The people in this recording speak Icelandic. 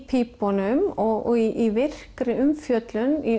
pípunum og í virkri umfjöllun í